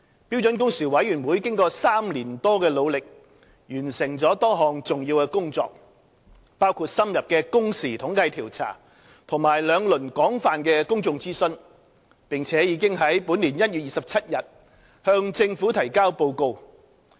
標準工時委員會經過3年多的努力，完成了多項重要的工作，包括深入的工時統計調查和兩輪廣泛的公眾諮詢，並已於本年1月27日向政府提交報告。